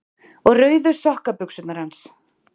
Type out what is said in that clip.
Og rauðu sokkabuxurnar hans?